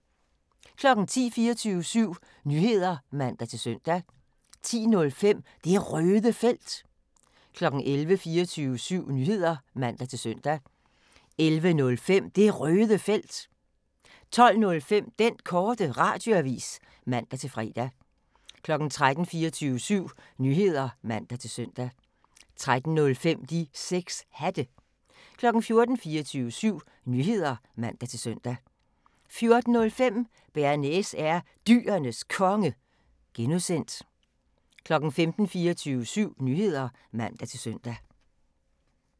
10:00: 24syv Nyheder (man-søn) 10:05: Det Røde Felt 11:00: 24syv Nyheder (man-søn) 11:05: Det Røde Felt 12:05: Den Korte Radioavis (man-fre) 13:00: 24syv Nyheder (man-søn) 13:05: De 6 Hatte 14:00: 24syv Nyheder (man-søn) 14:05: Bearnaise er Dyrenes Konge (G) 15:00: 24syv Nyheder (man-søn)